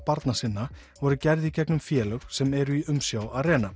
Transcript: barna sinna voru gerð í gegnum félög sem eru í umsjá